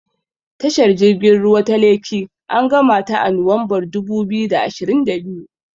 Tashar jirgin ruwa ta Lekki an gamata a Nuwanbar dubu biyu da ashirin da biyu.